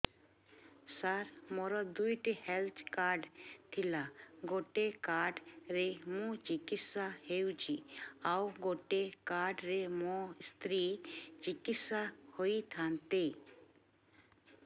ସାର ମୋର ଦୁଇଟି health card ଥିଲା ଗୋଟେ କାର୍ଡ ରେ ମୁଁ ଚିକିତ୍ସା ହେଉଛି ଆଉ ଗୋଟେ କାର୍ଡ ରେ ମୋ ସ୍ତ୍ରୀ ଚିକିତ୍ସା ହୋଇଥାନ୍ତେ